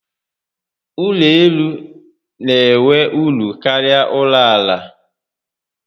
Ụlọ elu n'enwe uru karịa ụlọ àlà